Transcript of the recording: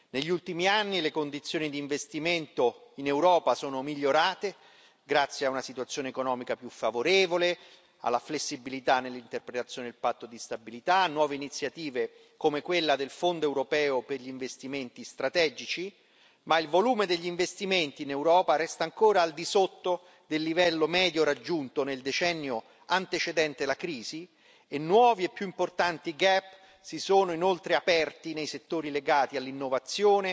Negli ultimi anni le condizioni di investimento in Europa sono migliorate grazie a una situazione economica più favorevole, alla flessibilità nell'interpretazione del patto di stabilità, a nuove iniziative come quella del Fondo europeo per gli investimenti strategici, ma il volume degli investimenti in Europa resta ancora al di sotto del livello medio raggiunto nel decennio antecedente la crisi, e nuovi e più importanti gap si sono inoltre aperti nei settori legati all'innovazione,